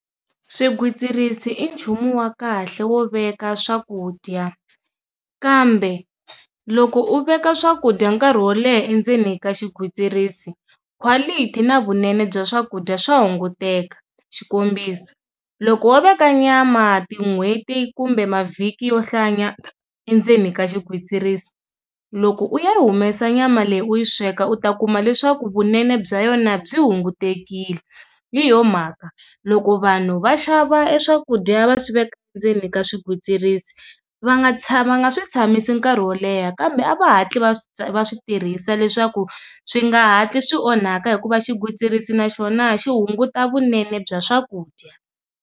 Swigwitsirisi i nchumu wa kahle wo veka swakudya kambe loko u veka swakudya nkarhi wo leha endzeni ka xigwitsirisi quality na vunene bya swakudya swa hunguteka xikombiso, loko wo veka nyama tin'hweti kumbe mavhiki yo hlaya nyana endzeni ka xigwitsirisi loko u ya humesa nyama leyi u yi sweka u ta kuma leswaku vunene bya yona byi hunguteriwe hi yo mhaka loko vanhu va xava eswakudya va swiveka ndzeni ka swigwitsirisi va nga tsha va nga swi tshamisa nkarhi wo leha kambe a va hatli va switirhisa leswaku swi nga hatli swi onhaka hikuva xigwitsirisi na swona xi hunguta vunene bya swakudya.